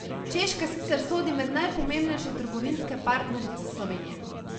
Češka sicer sodi med najpomembnejše trgovinske partnerice Slovenije.